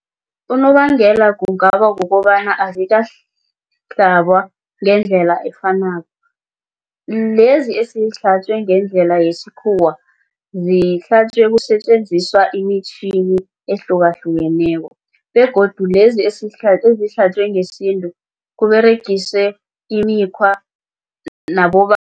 Unobangela kungaba kukobana ngendlela efanako lezi eseyihlatjwe ngendlela yesikhuwa zihlatjwe kusetjenziswa imitjhini ehlukahlukeneko begodu lezi ezihlatjwe ngesintu kuberegiswe imikhwa